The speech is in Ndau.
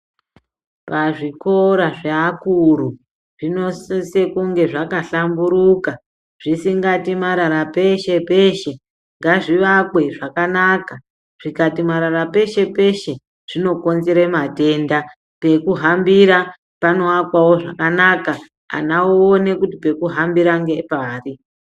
Pazvikora zveakuru zvinosise kunge zvakahlamburuka, zvisingati marara peshe peshe, ngazvivakwe zvakanaka zvikati marara peshe peshe zvinokonzere matenda. Pekuhambira pano akwawo zvakanaka, Ana oone kuti pekuhambira ngepari.